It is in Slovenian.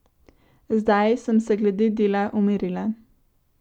Zdaj sem se glede dela umirila.